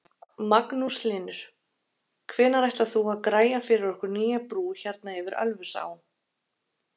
Magnús Hlynur: Hvenær ætlar þú að græja fyrir okkur nýja brú hérna yfir Ölfusá?